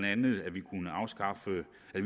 at